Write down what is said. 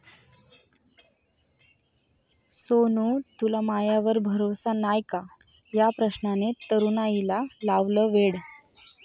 सोनु तुला मायावर भरोसा नाय का?' या प्रश्नाने तरुणाईला लावलं वेड!